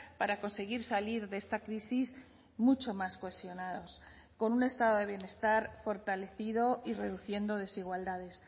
para conseguir salir de esta crisis mucho más cohesionados con un estado de bienestar fortalecido y reduciendo desigualdades